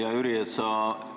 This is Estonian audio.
Hea Jüri!